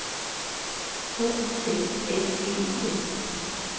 H U S S E I N